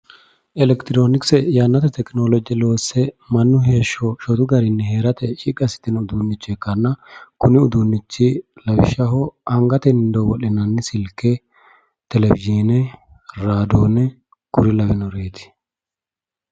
Elekitiroonikse yannate tekinolooje loosse mannu heeshsho shotu garinni tekinoloojete uduunne ikkanna kuni uduunnichi lawishshaho anatenni dowo'linanni silke, televizhiine raadoone kuri lawannoreeti.